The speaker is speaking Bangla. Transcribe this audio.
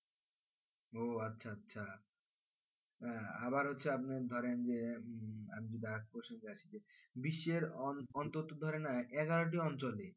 ওহ আচ্ছা আচ্ছা আহ আবার হচ্ছে আপনি ধরেন যে বিশের অন অন্তত ধরেন এগারোটি অঞ্চলে